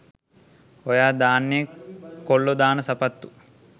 ඔයා දාන්නෙ කොල්ලෝ දාන සපත්තු